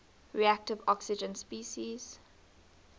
reactive oxygen species